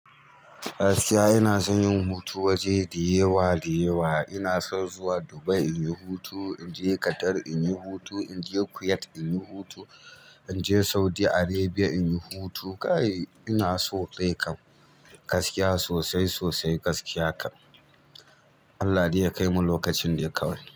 Gaskiya ina son yin hutu waje dayawa dayawa. Ina son zuwa Dubai inyi hutu, inje Qatar inyi hutu, inje Kuwait inyi hutu, inje Saudi Arabia inyi hutu. Inaso dai kam gaskiya sosai sosai kam Allah dai ya kaimu lokacin dai kawai.